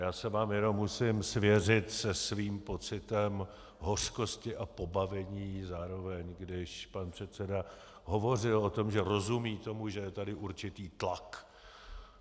Já se vám jenom musím svěřit se svým pocitem hořkosti a pobavení zároveň, když pan předseda hovořil o tom, že rozumí tomu, že je tady určitý tlak.